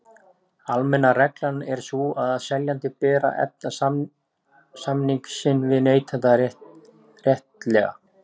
Almenna reglan er sú að seljanda ber að efna samning sinn við neytanda réttilega.